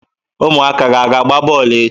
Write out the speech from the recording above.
Ụmụaka gị a ga-agba bọọlụ echi?